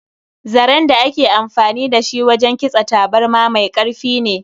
Zaren da ake amfani da shi wajen kitsa taburma mai karfi ne.